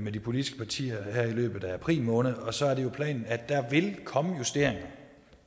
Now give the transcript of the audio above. med de politiske partier her i løbet af april måned og så er det planen at der vil komme justeringer